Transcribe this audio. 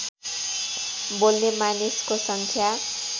बोल्ने मानिसको सङ्ख्या